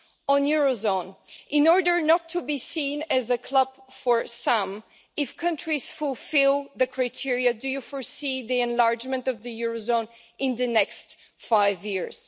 On the euro area, in order not to be seen as a club for some, if countries fulfil the criteria do you foresee the enlargement of the euro area in the next five years?